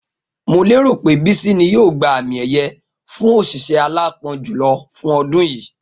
Mo lérò pé Bísí ni yóò gba àmì è̩ye̩ fún òs̩ìs̩é̩ aláápo̩n jùlo̩ fún o̩dún yìí